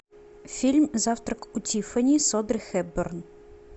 фильм завтрак у тиффани с одри хепберн